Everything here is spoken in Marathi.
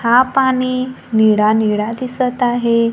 हा पाणी निळा निळा दिसत आहे.